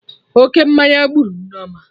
Oke mmanya gburu Nneoma